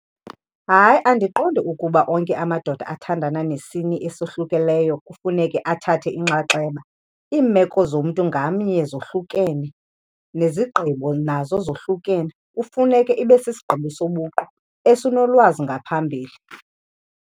Hayi, andiqondi ukuba onke amadoda athandana nesini esohlukileyo kufuneke athathe inxaxheba. Iimeko zomntu ngamnye zohlukene nezigqibo nazo zohlukene. Kufuneke ibe sisigqibo sobuqu esinolwazi ngaphambili.